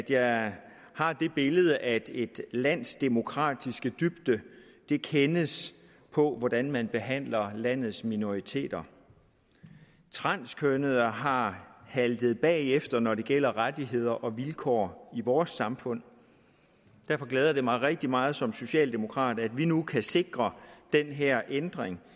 jeg har det billede at et lands demokratiske dybde kendes på hvordan man behandler landets minoriteter transkønnede har haltet bagefter når det gælder rettigheder og vilkår i vores samfund derfor glæder det mig rigtig meget som socialdemokrat at vi nu kan sikre den her ændring